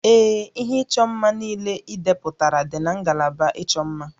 Ee, ihe ịchọ mma niile idepụtara dị na ngalaba ịchọ mma